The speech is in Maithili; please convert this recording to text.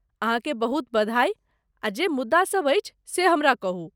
अहाँकेँ बहुत बधाई आ जे मुद्दासभ अछि से हमरा कहू।